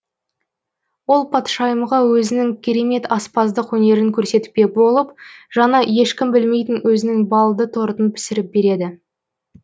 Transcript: ол патшайымға өзінің керемет аспаздық өнерін көрсетпек болып жаңа ешкім білмейтін өзінің балды тортын пісіріп береді